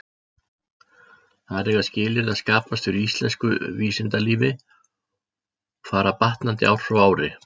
Þar eiga skilyrði að skapast fyrir íslensku vísindalífi, og fara batnandi ár frá ári.